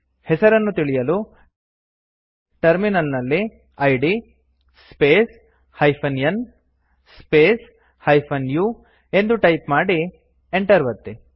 ಹೆಸರನ್ನು ತಿಳಿಯಲು ಟರ್ಮಿನಲ್ ನಲ್ಲಿ id space -n space -u ಎಂದು ಟೈಪ್ ಮಾಡಿ enter ಒತ್ತಿ